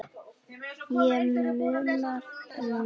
Og munar um minna!